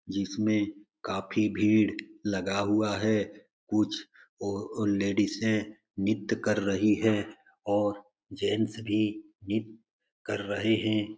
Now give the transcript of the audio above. जिसमें काफी भीड़ लग हुआ है। कुछ ओ लेडिस नृत्य कर रही है और जेन्ट्स भी नृत्य कर रहे है।